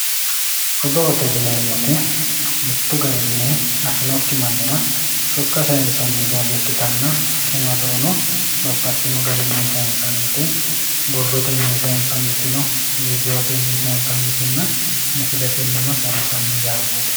Odootte yineemoti mitu garinni afinokki manirra sokka sayinsanni doogo ikkitanna tini odoono babaxino garinni sayinsanitte borrotenni sayinsaniti no, vidiootenni sayinsanitinna misiletennino sayinsanni yaate